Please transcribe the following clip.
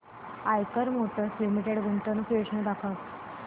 Eicher motors limited गुंतवणूक योजना दाखव